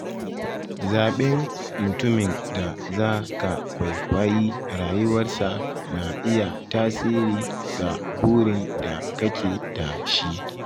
Zaɓen mutumin da za ka kwaikwayi rayuwarsa na iya tasiri ga burin da kake da shi.